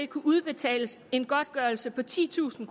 kunne udbetales en godtgørelse på titusind